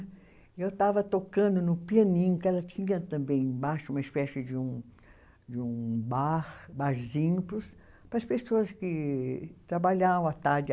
E eu estava tocando no pianinho, que ela tinha também embaixo, uma espécie de um, de um bar, barzinho, para as pessoas que trabalhavam à tarde.